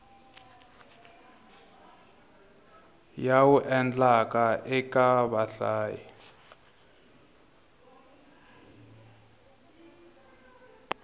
ya wu endlaka eka vahlayi